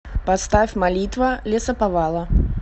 поставь молитва лесоповала